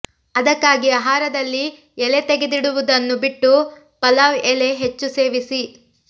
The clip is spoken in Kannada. ಅದಕ್ಕಾಗಿ ಆಹಾರದಲ್ಲಿ ಎಲೆ ತೆಗೆಡಿದುವುದನು ಬಿಟ್ಟು ಪಲಾವ್ ಎಲೆ ಹೆಚ್ಚು ಸೇವಿಸಿ